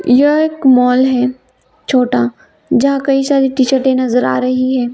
यह एक मॉल है छोटा जहा कई सारी टीशर्टे नजर आ रही है।